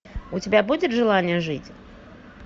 у тебя будет желание жить